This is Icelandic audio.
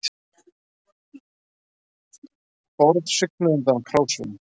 Borð svignuðu undan krásum